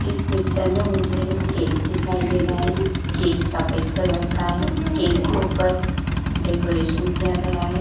इस पिक्चर में मुझे एक केक दिखाई दे रहा है। केक सफ़ेद कलर का है केक के ऊपर डेकोरेशन किया गया है।